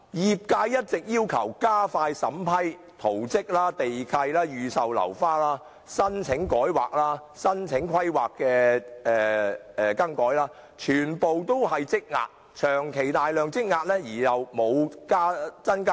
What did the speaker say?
業界一直要求加快審批圖則、地契、預售樓花、改劃申請、更改規劃的申請等，均全部長期大量積壓，但人手卻未有增加。